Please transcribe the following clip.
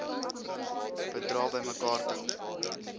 bedrae bymekaar tel